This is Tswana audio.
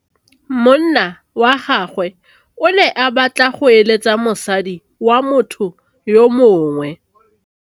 Monna wa gagwe o ne a batla go êlêtsa le mosadi wa motho yo mongwe.